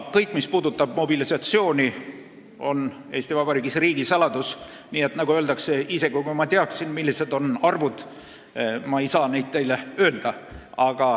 Kõik, mis puudutab mobilisatsiooni, on Eesti Vabariigis riigisaladus, nii et, nagu öeldakse, isegi kui ma teaksin, millised need arvud on, ei saaks ma neid teile öelda.